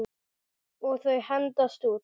Og þau hendast út.